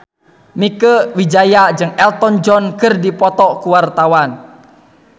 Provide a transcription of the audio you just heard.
Mieke Wijaya jeung Elton John keur dipoto ku wartawan